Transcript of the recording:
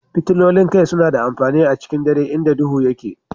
Fitilolin kai suna da amfani a cikin dare inda duhu yake.